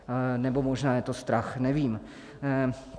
Nebo možná je to strach, nevím.